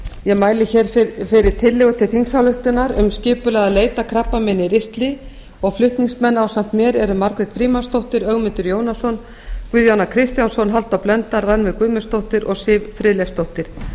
ég mæli hér fyrir tillögu til þingsályktunar um skipulagða leit að krabbameini í ristli og flutningsmenn ásamt mér eru margrét frímannsdóttir ögmundur jónasson guðjón a kristjánsson halldór blöndal rannveig guðmundsdóttir og sif friðleifsdóttir